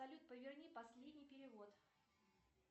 салют поверни последний перевод